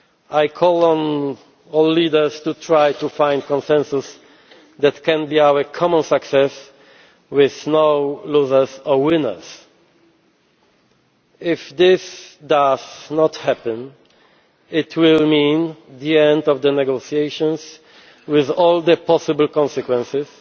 quo. I call on all leaders to try to find consensus that can be our common success, with no losers or winners. If that does not happen, it will mean the end of the negotiations, with all the possible consequences,